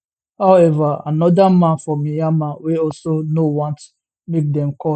however anoda man for myanmar wey also no want make dem call